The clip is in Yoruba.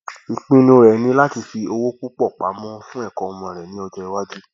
ìpinnu rẹ ni láti fi owó púpọ pamọ fún ẹkọ ọmọ rẹ ní ọjọ iwájú